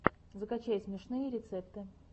закачай смешные рецепты